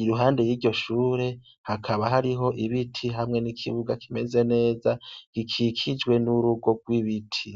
Iruhande y' iryo shure hakaba hariho ibiti hamwe n' ikibuga kimeze neza, gikikijwe n' urugo rw' ibiti.